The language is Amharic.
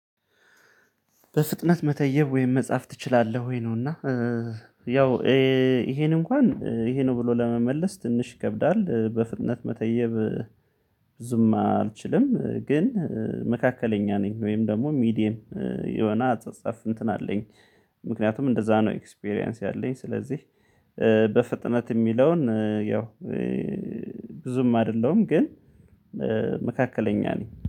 በፍጥነት መተየብ ወይም መጻፍ ትችላለህ ወይ ነው? እና ያው ይሄንን እንኳን ይሄ ነው ብሎ ለመመለስ ትንሽ ይከብዳል በፍጥነት መተየብ ብዙም አልችልም። ግን መካከለኛ ነኝ ወይም ደግሞ ሚዲየም የሆነ አጻጻፍ እንትን አለኝ። ምክንያቱም እንደዛ ነው ኤክስፒሪያንስ ያለኝ ስለዚህ በፍጥነት የሚለውን ያው ብዙም አይደለውም። ግን መካከለኛ ነኝ